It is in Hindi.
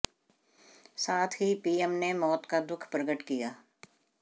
साथ ही पीएम ने मौत का दुःख प्रकट किया